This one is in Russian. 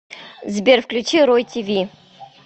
сбер включи рой ти ви